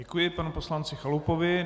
Děkuji panu poslanci Chalupovi.